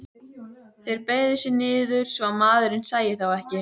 Þeir beygðu sig niður svo að maðurinn sæi þá ekki.